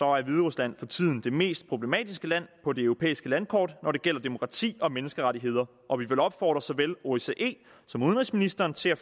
er hviderusland for tiden det mest problematiske land på det europæiske landkort når det gælder demokrati og menneskerettigheder og vi vil opfordre såvel osce som udenrigsministeren til at